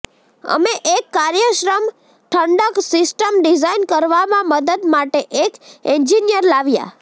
અમે એક કાર્યક્ષમ ઠંડક સિસ્ટમ ડિઝાઇન કરવામાં મદદ માટે એક એન્જિનિયર લાવ્યા